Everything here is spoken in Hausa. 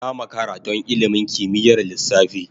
Na makara don ilimin kimiyyar lissafi.